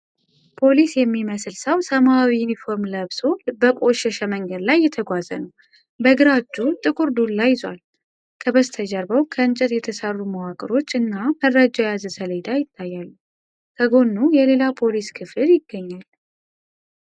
ፖሊስ የሚመስል ሰው ሰማያዊ ዩኒፎርም ለብሶ በቆሸሸ መንገድ ላይ እየተጓዘ ነው። በግራ እጁ ጥቁር ዱላ ይዟል። ከበስተጀርባው ከእንጨት የተሰሩ መዋቅሮች እና መረጃ የያዘ ሰሌዳ ይታያሉ። ከጎኑ የሌላ ፖሊስ ክፍል ይገኛል።